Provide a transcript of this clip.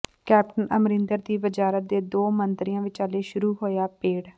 captain Amarinder ਦੀ ਵਜ਼ਾਰਤ ਦੇ ਦੋ ਮੰਤਰੀਆਂ ਵਿਚਾਲੇ ਸ਼ੁਰੂ ਹੋਇਆ ਭੇੜ